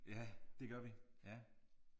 Ja det gør vi ja